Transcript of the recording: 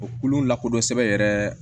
O kulu lakodɔn sɛbɛn yɛrɛ